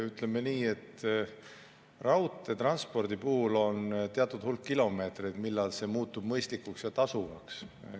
Ütleme nii, et raudteetranspordi puhul on teatud hulk kilomeetreid, millal see muutub mõistlikuks ja tasuvaks.